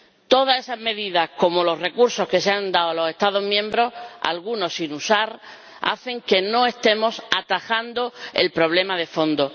Todas esas medidas, como los recursos que se han dado a los Estados miembros, algunos sin usar, hacen que no estemos atajando el problema de fondo.